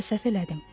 Bəlkə səhv elədim.